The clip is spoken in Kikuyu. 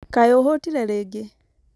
kaĩ ũhũtire rĩngĩ?